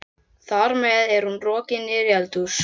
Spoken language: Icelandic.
Þar með er hún rokin niður í eldhús.